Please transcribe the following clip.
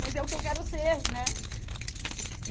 Mas é o que eu quero ser, né? E